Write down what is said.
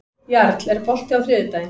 Jarl, er bolti á þriðjudaginn?